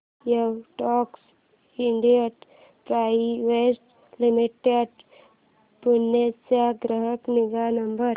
Widex India private limited Pune चा ग्राहक निगा नंबर